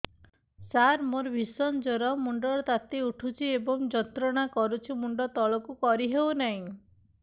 ସାର ମୋର ଭୀଷଣ ଜ୍ଵର ମୁଣ୍ଡ ର ତାତି ଉଠୁଛି ଏବଂ ଯନ୍ତ୍ରଣା କରୁଛି ମୁଣ୍ଡ ତଳକୁ କରି ହେଉନାହିଁ